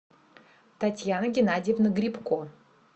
татьяна геннадьевна грибко